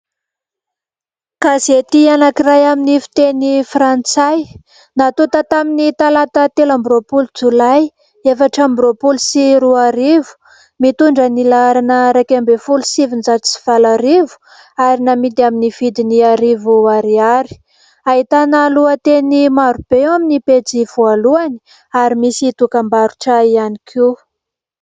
Gazety anankiray amin'ny fiteny frantsay, natonta tamin'ny talata telo amby roapolo jolay, efatra amby roapolo sy roarivo, mitondra ny laharana : iraika ambin'ny folo sy sivinjato sy valo arivo ary namidy amin'ny vidiny arivo ariary. Ahitana lohateny maro be eo amin'ny pejy voalohany ary misy dokam-barotra ihany koa.